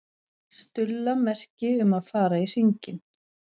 Stulla merki um að fara í hringinn.